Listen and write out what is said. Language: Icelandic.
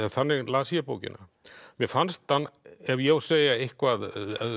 þannig las ég bókina mér fannst hann ef ég á að segja eitthvað